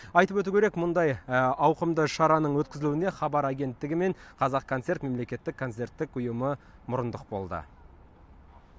айтып өту керек мұндай ауқымды шараның өткізілуіне хабар агенттігі мен қазақконцерт мемлекеттік концерттік ұйымы мұрындық болды